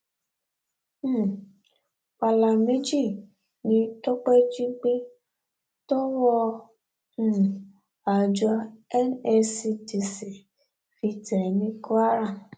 um pàlà méjì ni tọpẹ jí gbé tọwọ um àjọ nscdc fi tẹ ẹ ní kwara